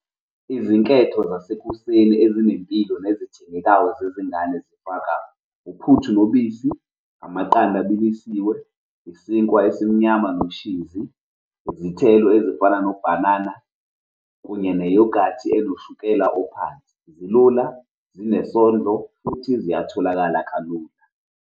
Izinketho zasekuseni ezinempilo nezithengekayo zezingane zifaka uphuthu nobisi, amaqanda abilisiwe, isinkwa esimnyama noshizi, izithelo ezifana nobhanana kunye neyogathi enoshukela ophansi. Zilula, zinesondlo, futhi ziyatholakala kalula.